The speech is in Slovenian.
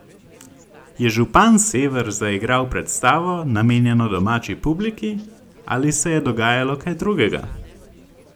Je župan Sever zaigral predstavo, namenjeno domači publiki, ali se je dogajalo kaj drugega?